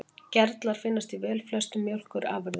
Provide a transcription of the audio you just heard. Gerlar finnast í velflestum mjólkurafurðum.